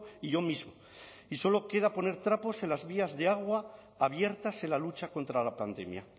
y yo mismo y solo queda poner trapos en las vías de agua abiertas en la lucha contra la pandemia